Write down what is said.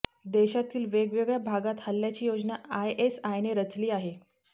देशातील वेगवेगळ्या भागात हल्ल्याची योजना आयएसआयने रचली आहे